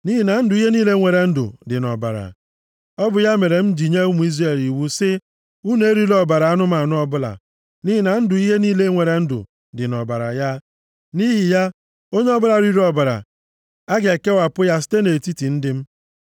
Nʼihi na ndụ ihe niile nwere ndụ dị nʼọbara. Ọ bụ ya mere m ji nye ụmụ Izrel iwu si unu erila ọbara anụmanụ ọbụla, nʼihi na ndụ ihe niile nwere ndụ dị nʼọbara ya. Nʼihi ya onye ọbụla riri ọbara, a ga-ekewapụ ya site nʼetiti ndị m.